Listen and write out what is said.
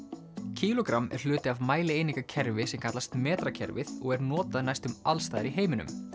kílógramm er hluti afmælieiningakerfi sem kallast metrakerfið og er notað næstum allsstaðar í heiminum